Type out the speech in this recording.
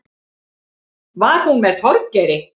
Var hún með Þorgeiri?